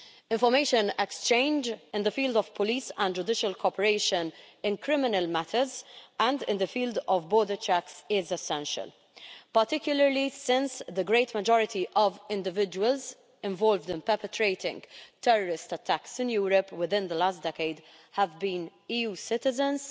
Information exchange in the field of police and judicial cooperation in criminal matters and in the field of border checks is essential, particularly since the great majority of individuals involved in perpetrating terrorist attacks in Europe within the last decade have been EU citizens.